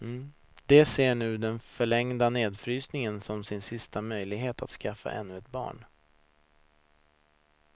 De ser nu den förlängda nedfrysningen som sin sista möjlighet att skaffa ännu ett barn.